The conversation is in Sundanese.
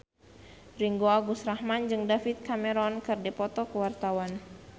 Ringgo Agus Rahman jeung David Cameron keur dipoto ku wartawan